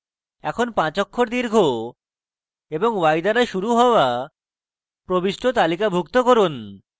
এখন